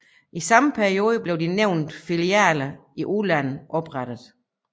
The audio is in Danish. I samme periode blev de nævnte filialer i udlandet oprettet